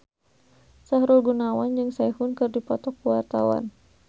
Sahrul Gunawan jeung Sehun keur dipoto ku wartawan